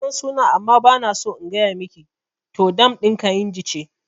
Nasan sunan amma bana so in gaya miki, to dam ɗin kainji ce